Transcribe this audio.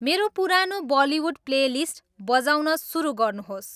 मेरो पुरानो Bollywood playlist बजाउन सुरु गर्नुहोस्